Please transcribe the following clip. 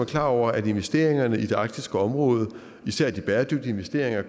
klar over at investeringerne i det arktiske område især de bæredygtige investeringer